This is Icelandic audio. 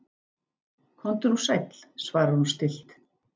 Komdu nú sæll, svarar hún stillt.